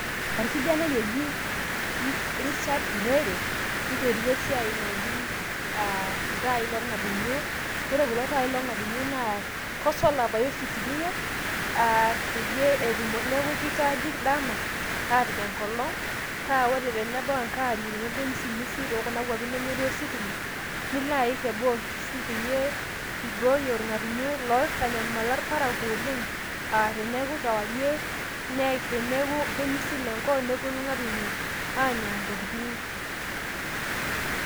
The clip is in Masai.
Orkijanai oji Richard Turere, oiterua esiai naji iltaai lorng'atunyo. Ore kulo taai lorng'atunyo naa kosola pae oshi itumia, ah peyie neeku kichargi dama apik enkolong' pa ore tenebao enkarie nelotu emisimisi tokuna kwapi nemetii ositima, niloaik teboonkishu peyie, ibooyo irng'atunyo loitanyamala irparakuo oleng',ah teneeku kewarie, neik na teneeku kemisil enkop, neponu irng'atunyo anya intokiting'.